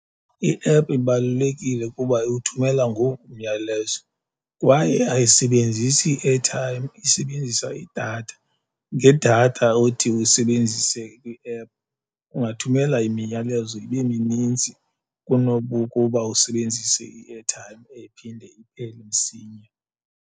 I-app ibalulekile kuba iwuthumela ngoku umyalezo kwaye ayisebenzisi airtime, isebenzisa idatha, ngedatha othi uyisebenzise kwi-ephu ungathumela imiyalezo ibe minintsi kunobukuba usebenzise i-airtime ephinde iphele msinya.